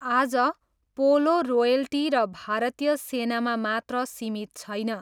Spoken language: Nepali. आज, पोलो रोयल्टी र भारतीय सेनामा मात्र सीमित छैन।